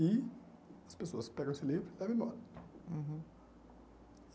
E as pessoas pegam esse livro e levam embora. Uhum